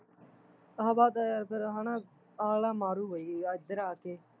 ਹਵਾ ਤਾਂ ਯਾਰ ਫਿਰ ਹੈਨਾ ਅਗਲਾ ਮਾਰੂਗਾ ਈ ਏਧਰ ਆ ਕੇ